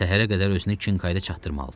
Səhərə qədər özünü Kinkayda çatdırmalıdı.